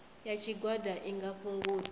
ya tshigwada i nga fhungudza